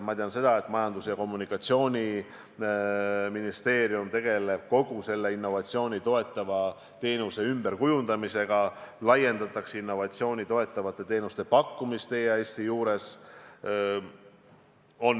Ma tean seda, et Majandus- ja Kommunikatsiooniministeerium tegeleb kogu selle innovatsiooni toetava teenuse ümberkujundamisega, laiendatakse innovatsiooni toetavate teenuste pakkumist EAS-i juures.